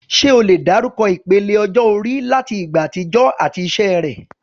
Ṣé o lè dárúkọ ìpele ọjọ́ orí láti ìgbà àtijọ́ àti iṣẹ́ rẹ̀?